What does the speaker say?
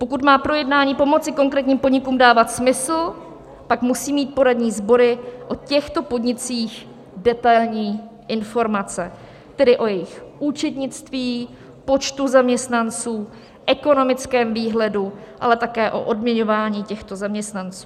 Pokud má projednání pomoci konkrétním podnikům dávat smysl, pak musí mít poradní sbory o těchto podnicích detailní informace, tedy o jejich účetnictví, počtu zaměstnanců, ekonomickém výhledu, ale také o odměňování těchto zaměstnanců.